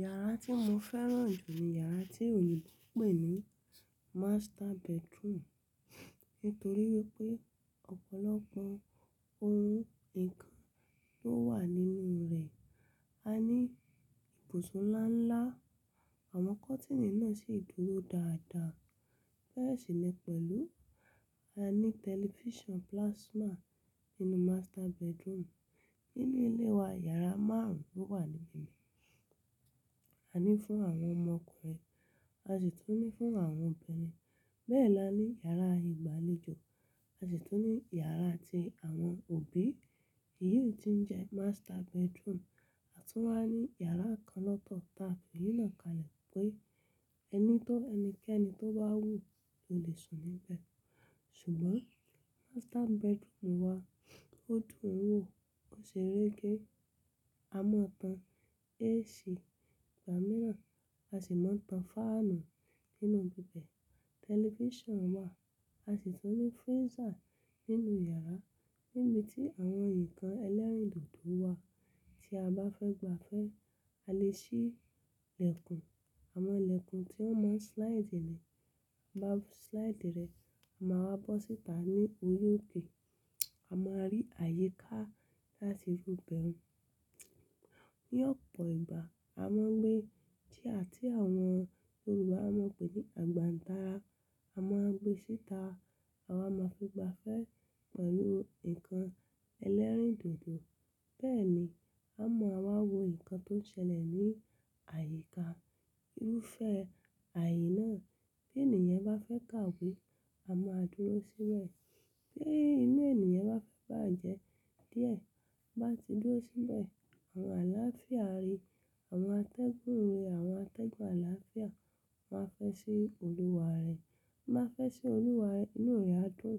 Yàrá tí mo fẹ́ràn jù ní yàrá tí Yorùbá ń pè ní master bedroom. Nítorí wípé ọ̀pọ̀lọpọ̀ ohun ǹkan tó wà nínú rẹ̀, a ní ibùsùn ńlá ńlá, àwọn kọ́tìnì náà sì dúró dáadáa. Bẹ́ẹ̀ sì lẹ́ pẹ̀lú, a ní tẹlifíṣàn plasma nínú master bedroom. Nínú ilé wa, yàrá márùn ún ló wà níbẹ̀. A ní fún àwọn ọmọkùnrin, a sì tún ní fún àwọn obìnrin. Bẹ́ẹ̀ la ní yàrá ìgbàlejò, a sì tún ní yàrá tí àwọn òbí, èyí ò tí ń jẹ́ master bedroom, a tún wá ní yàrá kan lọ́tọ̀ táa fìyíná kalẹ̀ pé ẹni tó ẹnikẹ́ni tó bá wù ló lè sùn níbẹ̀. Ṣùgbọ́n master bedroom wa tó dùn wò, ó ṣe réké. A máa tan AC gbàmíràn, a sì máa tan fáànù nínú gbígbẹ̀. Tẹlifíṣàn wà, a sì tún ní freezer nínú yàrá níbi tí àwọn ǹkan ẹlẹ́rìndòdò wà. Tí a bá fẹ́ gbafẹ́, a lè ṣí ìlẹ̀kùn, àwọn ìlẹ̀kùn tí wọ́n mọ́ slide ní, a bá slide rẹ̀ a máa wá bọ́ síta ní otí òkè. A máa rí àyíká láti rúbẹ̀. Ní ọ̀pọ̀ ìgbà a máa ń gbé tíà tí àwọn Yorùbá máa ń pè ní àgbàǹtará, a máa ń gbé síta. A máa fi gbafẹ́ pẹ̀lú nǹkan ẹlẹ́rìndòdò. Bẹ́ẹ̀ ni a mọ̀ a máa wo nǹkan tó ń ṣẹlẹ̀ ní àyíká. Irúfẹ́ ààyè náà bí ènìyàn bá fẹ́ kàwé, a máa dúró síbẹ̀. Bí inú ènìyàn bá fẹ́ bàjẹ́ díẹ̀, ó bá ti dúró síbẹ̀, àwọn àlàáfíà rí, àwọn atẹ́gùn rí, àwọn atẹ́gùn àlàáfíà máa fẹ́ ṣí olúwa rẹ̀. Bí wọ́n bá fẹ́ ṣí olúwa rẹ̀, inú rẹ̀ á dùn,